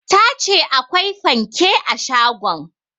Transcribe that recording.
Ta ce akwai fanke a shagon